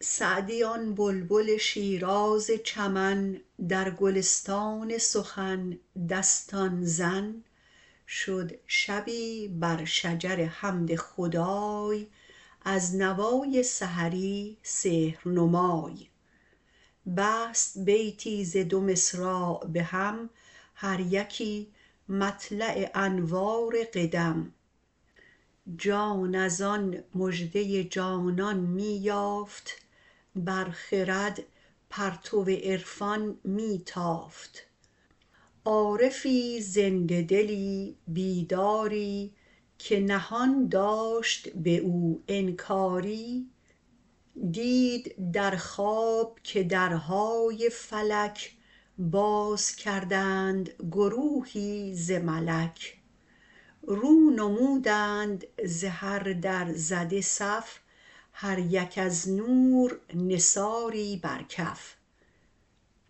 سعدی آن بلبل شیراز چمن در گلستان سخن دستان زن شد شبی بر شجر حمد خدای از نوای سحری سحر نمای بست بیتی ز دو مصراع به هم هر یکی مطلع انوار قدم جان ازان مژده جانان می یافت بر خرد پرتو عرفان می تافت عارفی زنده دلی بیداری که نهان داشت به او انکاری دید در خواب که درهای فلک باز کردند گروهی ز ملک رو نمودند ز هر در زده صف هر یک از نور نثاری بر کف